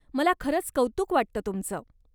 मला खरंच कौतुक वाटत तुमचं.